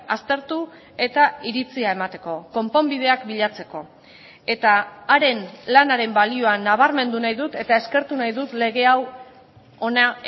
aztertu eta iritzia emateko konponbideak bilatzeko eta haren lanaren balioa nabarmendu nahi dut eta eskertu nahi dut lege hau hona